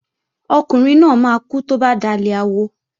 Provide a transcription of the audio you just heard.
Ọkùnrin náà máa kú tó bá dalẹ̀ awo